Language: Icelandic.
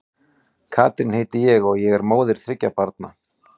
Katrín heiti ég og og er móðir þriggja barna.